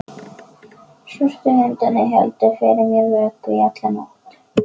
Svörtu hundarnir héldu fyrir mér vöku í alla nótt.